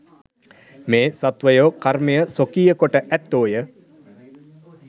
මේ සත්වයෝ කර්මය ස්වකීය කොට ඇත්තෝ ය.